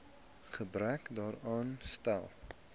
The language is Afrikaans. gebrek daaraan stel